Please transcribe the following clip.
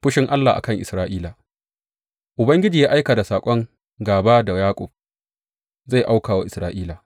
Fushin Ubangiji a kan Isra’ila Ubangiji ya aika da saƙon gāba da Yaƙub; zai auka wa Isra’ila.